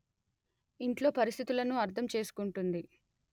ఇంట్లో పరిస్థితులను అర్ధం చేసుకొంటుంది